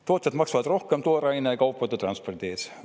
Tootjad maksavad rohkem tooraine ja kaupade transpordi eest.